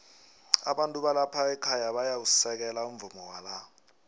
abantu balapha ekhaya bayawusekela umvumo wala